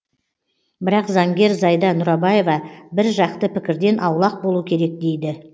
бірақ заңгер зайда нұрабаева бір жақты пікірден аулақ болу керек дейді